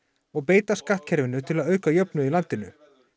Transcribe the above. og beita skattkerfinu til að auka jöfnuð í landinu